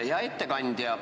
Hea ettekandja!